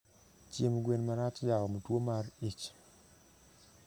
Chiemb gwen marach jaom tuo mar ich